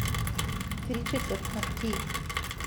Tri četrt na tri!